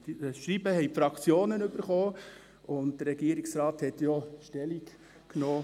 Das Schreiben haben die Fraktionen erhalten, und der Regierungsrat hat dazu Stellung genommen.